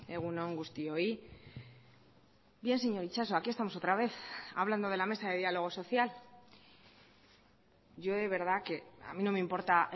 egun on guztioi bien señor itxaso aquí estamos otra vez hablando de la mesa de diálogo social yo de verdad que a mí no me importa